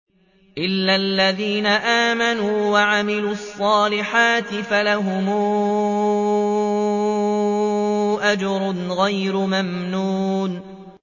إِلَّا الَّذِينَ آمَنُوا وَعَمِلُوا الصَّالِحَاتِ فَلَهُمْ أَجْرٌ غَيْرُ مَمْنُونٍ